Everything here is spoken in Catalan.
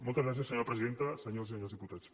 moltes gràcies senyora presidenta senyores i senyors diputats